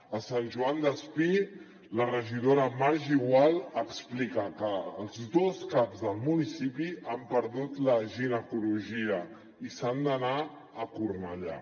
a sant joan despí la regidora margi gual explica que els dos caps del municipi han perdut la ginecologia i se n’han d’anar a cornellà